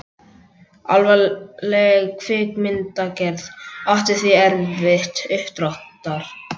Alvarleg kvikmyndagerð átti því erfitt uppdráttar.